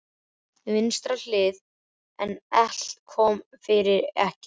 Á vinstri hlið, en allt kom fyrir ekki.